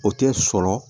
O tɛ sɔrɔ